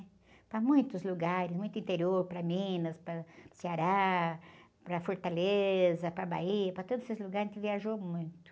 Para muitos lugares, muito interior, para Minas, para Ceará, para Fortaleza, para Bahia, para todos esses lugares a gente viajou muito.